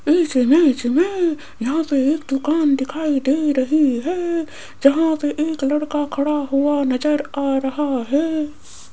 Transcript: इस इमेज में यहां पे एक दुकान दिखाई दे रही है जहां पे एक लड़का खड़ा हुआ नजर आ रहा है।